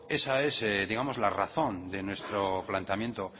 esa es digamos la razón de nuestro planteamiento